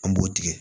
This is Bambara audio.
An b'o tigɛ